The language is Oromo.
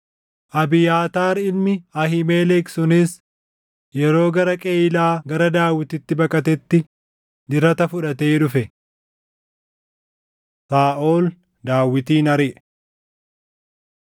Abiyaataar ilmi Ahiimelek sunis yeroo gara Qeyiilaa gara Daawititti baqatetti dirata fudhatee dhufe. Saaʼol Daawitin Ariʼe